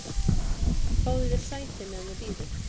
"""Fáðu þér sæti, meðan þú bíður"""